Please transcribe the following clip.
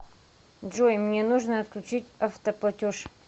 джой мне нужно отключить автоплатеж